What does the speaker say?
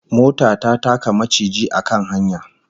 Mota ta taka maciji a kan hanya